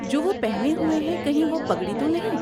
جو وہ پہنے ہوئے ہیں، کہیں وہ پگڑی تو نہیں؟